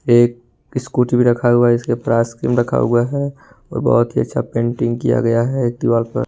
एक स्कूटी भी रखा हुआ है इसके रखा हुआ है और बहुत ही अच्छा पेंटिंग किया गया है एक्टिवा पर।